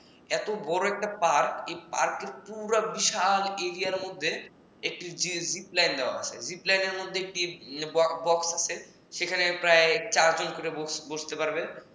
এত বড় একটা park এই পার্কের পুরা বিশাল এরিয়ার মধ্যে একটা jeep line দেওয়া আছে সেখানে প্রায় চারজন করে বসতে পারবেন